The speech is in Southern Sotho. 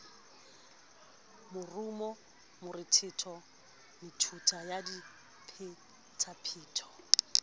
morumo morethetho metuta ya diphetapheto